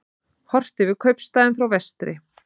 Horft yfir kaupstaðinn frá vestri.